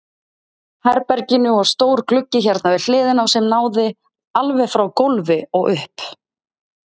herberginu og stór gluggi hérna við hliðina sem náði alveg frá gólfi og upp.